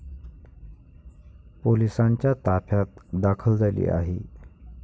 पोलिसांच्या ताफ्यात दाखल झाली आहे.